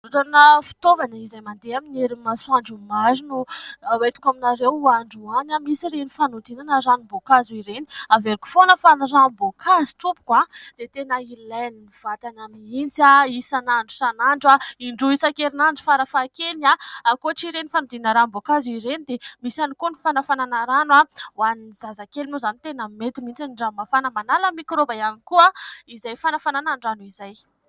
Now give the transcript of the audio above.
Fivarotana fitaovana izay mandeha amin'ny herin'ny masoandro maro no hoentiko aminareo androany ,misy ireny fanodinana ranom-boankazo ireny ; averiko foana fa ny ranom-boankazo tompoko, dia tena ilain'ny vatana mihitsy : isan'andro isan'andro, indroa isan-kerinandro farafahakeliny . Ankoatra ireny fanodinana ranom-boankazo ireny, dia misy ihany koa ny fanafanana rano ho an'ny zazakely moa izany, tena mety mihitsy ny rano mafana manala mikraoba ihany koa izay fanafanana nyrano izay.